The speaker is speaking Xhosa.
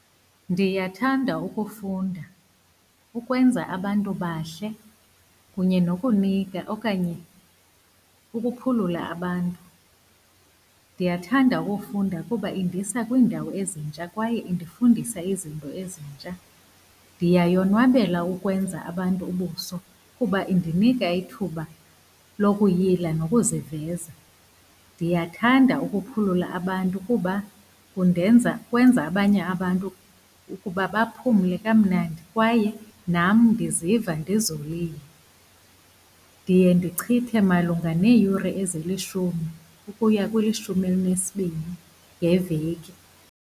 Ndiyathanda ukufunda, ukwenza abantu bahle kunye nokunika okanye ukuphulula abantu. Ndiyathanda ukufunda kuba indisa kwiindawo ezintsha kwaye indifundisa izinto ezintsha. Ndiyayonwabela ukwenza abantu ubuso, kuba indinika ithuba lokuyila ngokuziveza. Ndiyathanda ukuphulula abantu kuba kundenza, kwenza abanye abantu ukuba baphumle kamnandi kwaye nam ndiziva ndizolile. Ndiye ndichithe malunga neeyure ezilishumi ukuya kwelishumi elinesibini ngeveki.